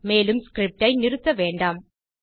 மேலும் ஸ்கிரிப்ட் ஐ நிறுத்த வேண்டாம்